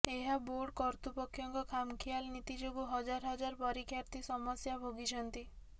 ଏହା ବୋର୍ଡ଼ କର୍ତୃପକ୍ଷଙ୍କ ଖାମଖିଆଲ ନୀତି ଯୋଗୁଁ ହଜାର ହଜାର ପରାୀକ୍ଷାର୍ଥୀ ସମସ୍ୟା ଭୋଗିଛନ୍ତି